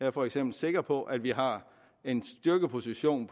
er for eksempel sikker på at vi har en styrkeposition